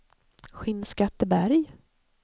Skinnskatteberg